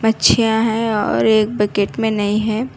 मच्छीयाँ है और एक बकेट में नहीं है।